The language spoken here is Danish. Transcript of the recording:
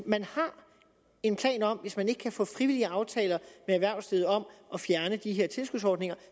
man har en plan om at man hvis man ikke kan få frivillige aftaler med erhvervslivet om at fjerne de her tilskudsordninger